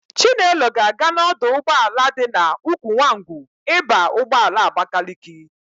Chinelo ga-aga n'ọdụ ụgbọala dị n'Ukwunwangwu ịba ụgbọala Abakaliki.